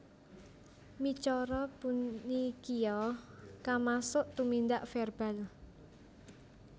Micara punikia kamasuk tumindak verbal